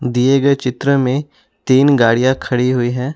दिए गए चित्र में तीन गाड़ियां खड़ी हुई हैं।